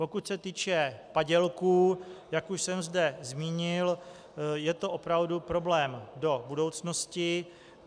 Pokud se týče padělků, jak už jsem zde zmínil, je to opravdu problém do budoucnosti.